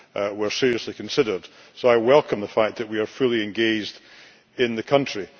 were seriously considered, so I welcome the fact that we are fully engaged in the country.